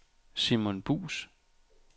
Simon Buus